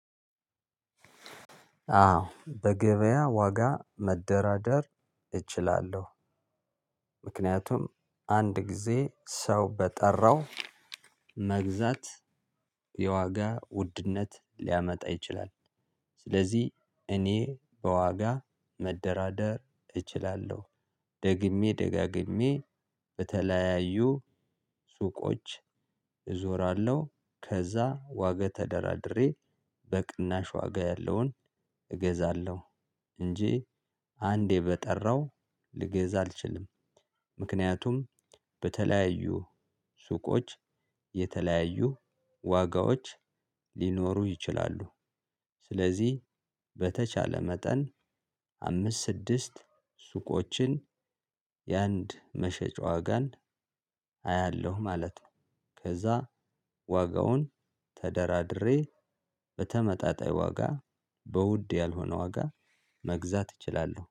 አዎ በገበያ ዋጋ መደራደር እችላለሁ። ምክንያቱም አንድ ጊዜ ሰው በጠራው መግዛት የዋጋ ውድነት ሊያመጣ ይችላል። ስለዚህ እኔ በዋጋ መደራደር እችላለሁ። ደግሜ ደጋግሜ በተለያዩ ሱቆች እዞራለሁ ከዛ ዋገ ተደራድሬ በቅናሽ ዋጋ ያለውን እገዛለሁ። እንጂ አንዴ በጠራው ልገዛ አልችልም። ምክንያቱም በተለያዩ ሱቆች የተለያዩ ዋጋዎች ሊኖሩ ይችላሉ። ስለዚህ በተቻለ መጠን አምስት ስድስት ሱቆችን የአንድ መሸጫ ዋጋን አያለሁ ማለት ነው። ከዛ ዋጋውን ተደራድሬ በተመጣጣኝ ዋጋ በውድ ያልሆነ ዋጋ መግዛት እችላለሁ